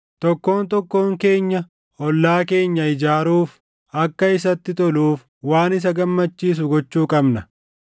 Tokkoon tokkoon keenya ollaa keenya ijaaruuf, akka isatti toluuf waan isa gammachiisu gochuu qabna.